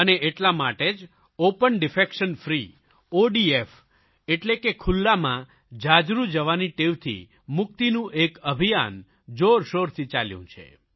અને એટલા માટે જ ઓપન ડેફેકેશન ફ્રી ઓડીએફ એટલે કે ખુલ્લામાં જાજરૂ જવાની ટેવથી મુક્તિનું એક અભિયાન જોરશોરથી ચાલ્યું છે